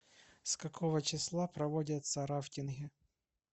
с какого числа проводятся рафтинги